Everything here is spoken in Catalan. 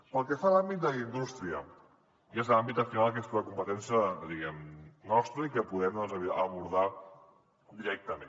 pel que fa a l’àmbit d’indústria que és l’àmbit al final que és la competència nostra i que podem abordar directament